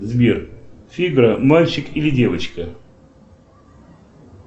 сбер фига мальчик или девочка